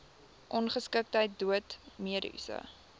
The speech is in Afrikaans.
ongeskiktheid dood mediese